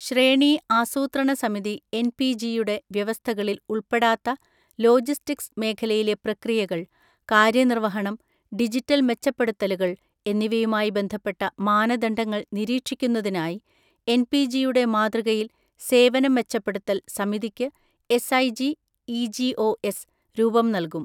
ശ്രേണീ ആസൂത്രണ സമിതി എൻപിജി യുടെ വ്യവസ്ഥകളിൽ ഉൾപ്പെടാത്ത ലോജിസ്റ്റിക്സ് മേഖലയിലെ പ്രക്രിയകൾ, കാര്യനിർവഹണം, ഡിജിറ്റൽ മെച്ചപ്പെടുത്തലുകൾ എന്നിവയുമായി ബന്ധപ്പെട്ട മാനദണ്ഡങ്ങൾ നിരീക്ഷിക്കുന്നതിനായി എൻപിജിയുടെ മാതൃകയിൽ സേവനം മെച്ചപ്പെടുത്തൽ സമിതിക്ക് എസ്ഐജി ഇജിഒഎസ് രൂപംനൽകും.